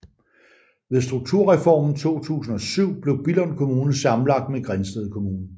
Ved Strukturreformen 2007 blev Billund Kommune sammenlagt med Grindsted Kommune